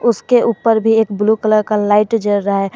उसके ऊपर भी एक ब्लू कलर का लाइट जल रहा है।